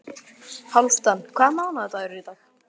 Hálfdan, hvaða mánaðardagur er í dag?